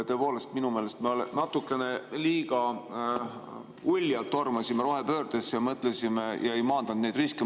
Tõepoolest, minu meelest me natukene liiga uljalt tormasime rohepöördesse ja ei maandanud neid riske.